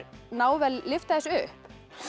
náð að lyfta þessu upp